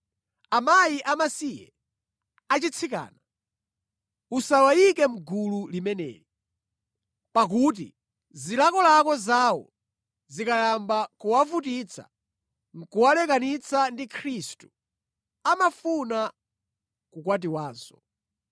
Akazi amasiye achitsikana, usawayike mʼgulu limeneli. Pakuti zilakolako zawo zikayamba kuwavutitsa nʼkuwalekanitsa ndi Khristu, amafuna kukwatiwanso.